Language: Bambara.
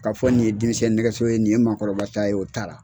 K'a fɔ nin ye denmisɛn nɛgɛso ye nin ye maakɔrɔba ta ye, o t'ara.